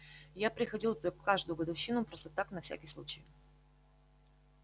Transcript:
я приходил туда в каждую годовщину просто так на всякий случай